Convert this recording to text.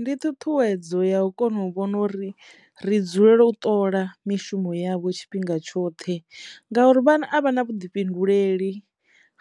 Ndi ṱhuṱhuwedzo ya u kona u vhona uri ri dzulela u ṱola mishumo yavho tshifhinga tshoṱhe ngauri vhana a vha na vhuḓifhinduleli